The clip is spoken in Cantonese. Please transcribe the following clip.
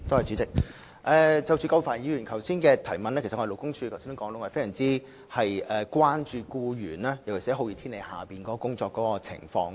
主席，有關葛珮帆議員的補充質詢，勞工處其實非常關注僱員在酷熱天氣下的工作情況。